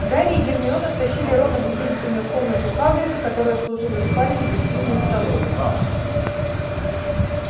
гарри и гермиона втащили рона в единственную комнату хагрида которая служила и спальней и гостиной и столовой